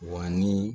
Wa ni